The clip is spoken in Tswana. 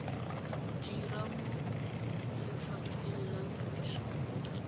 dira mo lefapheng la puso